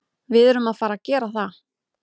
Við erum að fara að gera það.